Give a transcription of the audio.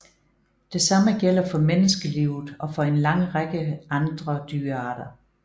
Det samme gælder for menneskelivet og for en lang række andre dyrearter